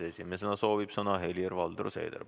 Esimesena soovib sõna Helir-Valdor Seeder.